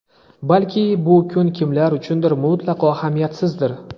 Balki bu kun kimlar uchundir mutlaqo ahamiyatsizdir.